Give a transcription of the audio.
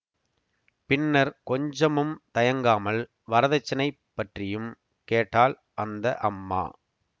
பின்னர் கொஞ்சமும் தயங்காமல் வரதட்சணைப் பற்றியும் கேட்டாள் அந்த அம்மா